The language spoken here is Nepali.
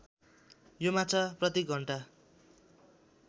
यो माछा प्रतिघण्टा